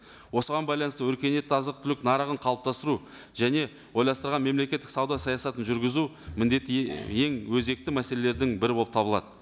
осыған байланысты өркениетті азық түлік нарығын қалыптастыру және ойластырған мемлекеттік сауда саясатын жүргізу міндеті ең өзекті мәселелердің бірі болып табылады